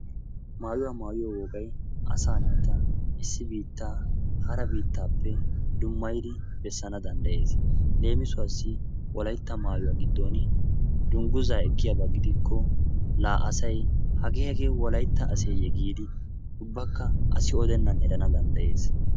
Maayyuwa maayyiyo wogay asa naata issi biittaa hara biittappe dummaydi bessana danddayees. leemisuwassi Wolaytta maayuwa giddon dungguza ekiyaaba gidikko la asay hage hage Wolaytta aseyye giidi ubbaka asi odennan erana danddayees.